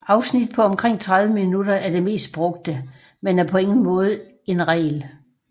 Afsnit på omkring 30 minutter er det mest brugte men er på ingen måde en regel